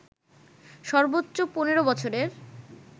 সর্বোচ্চ ১৫ বছরের